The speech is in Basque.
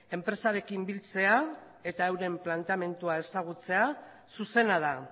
enpresarekin biltzea eta euren planteamendua ezagutzea zuzena da